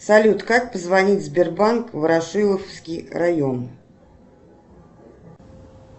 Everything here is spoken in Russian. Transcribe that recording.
салют как позвонить в сбербанк ворошиловский район